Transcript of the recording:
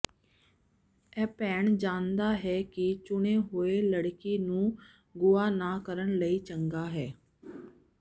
ਇਹ ਭੈਣ ਜਾਣਦਾ ਹੈ ਕਿ ਚੁਣੇ ਹੋਏ ਲੜਕੀ ਨੂੰ ਗੁਆ ਨਾ ਕਰਨ ਲਈ ਚੰਗਾ ਹੈ